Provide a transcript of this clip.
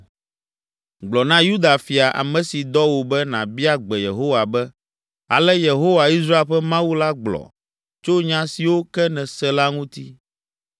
“Gblɔ na Yuda fia, ame si dɔ wò be nàbia gbe Yehowa be, ‘Ale Yehowa, Israel ƒe Mawu la gblɔ tso nya siwo ke nèse la ŋuti.